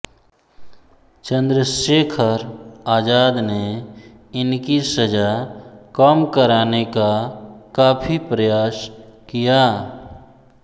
चन्द्रशेखर आजाद ने इनकी सजा कम कराने का काफी प्रयास किया